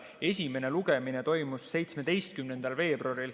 Esimene lugemine toimus 17. veebruaril.